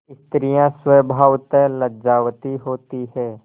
स्त्रियॉँ स्वभावतः लज्जावती होती हैं